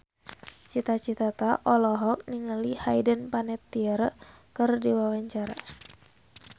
Cita Citata olohok ningali Hayden Panettiere keur diwawancara